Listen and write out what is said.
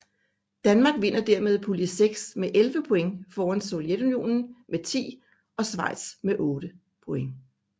Danmark vinder dermed pulje 6 med 11 point foran Sovjetunionen med 10 og Schweiz med 8 point